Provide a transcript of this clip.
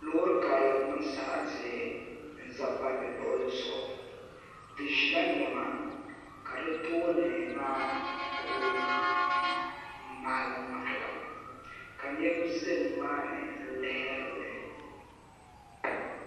Loori karili n niŋ sarati n ʒɛ palli luɣuli zuɣu di ʒila niɛma ka di tooni maa ku maɣalim maɣalim ka niraba ʒɛ nimaani n lihiri li